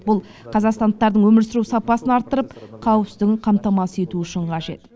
бұл қазақстандықтардың өмір сүру сапасын арттырып қауіпсіздігін қамтамасыз ету үшін қажет